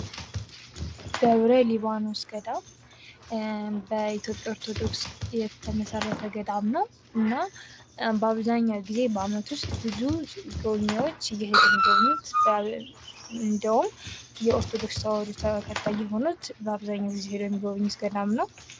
ደብረ ሊባኖስ ገዳም በኢትዮጵያ ኦርቶዶክስ ተዋህዶ የተመሰረተ ገዳም ነው:: እና በአብዛኛው ጊዜ በዓመት ዉስጥ ብዙ ጎብኝዎች እየሄዱ የምጎበኙት እንዲሁም የኦርቶዶክስ ሃይማኖት ተከታይ የሆኑት እየሄዱ የሚጎበኙት ገዳም ነው::